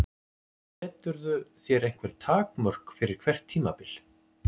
Seturðu þér einhver takmörk fyrir hvert tímabil?